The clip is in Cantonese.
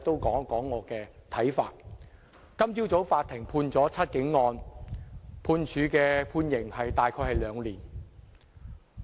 今早法院就"七警案"判處的刑期大約是兩年。